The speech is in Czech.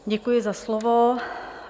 Děkuji za slovo.